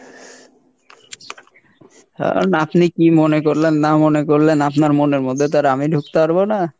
এখন আপনি কী মনে করলেন না মনে করলেন আপনার মনের মধ্যে তো আর আমি ঢুকতে পারবো না।